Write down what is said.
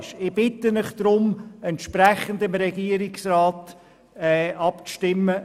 Deshalb bitte ich Sie, entsprechend dem Antrag des Regierungsrats abzustimmen.